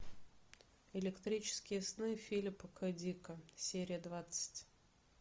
электрические сны филипа к дика серия двадцать